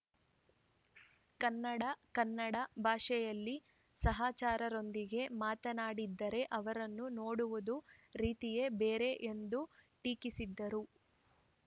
ಕನ್ನಡ ಕನ್ನಡ ಭಾಷೆಯಲ್ಲಿ ಸಹಚರರೊಂದಿಗೆ ಮಾತನಾಡಿದರೆ ಅವರನ್ನು ನೋಡುವ ರೀತಿಯೇ ಬೇರೆ ಎಂದು ಟೀಕಿಸಿದರು